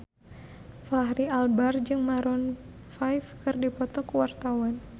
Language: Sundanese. Fachri Albar jeung Maroon 5 keur dipoto ku wartawan